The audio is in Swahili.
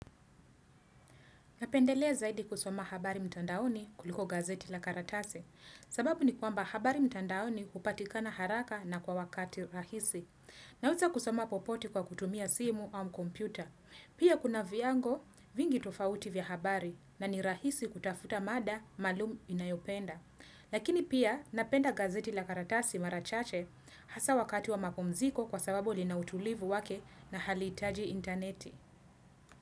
Napendelea zaidi kusoma habari mtandaoni kuliko gazeti la karatasi. Sababu ni kwamba habari mtandaoni hupatikana haraka na kwa wakati rahisi. Naweza kusoma popote kwa kutumia simu au kompyuta. Pia kuna viwango vingi tofauti vya habari na ni rahisi kutafuta mada maalum ninayopenda. Lakini pia napenda gazeti la karatase marachache hasa wakati wa mapumziko kwa sababu lina utulivu wake na halihitaji interneti.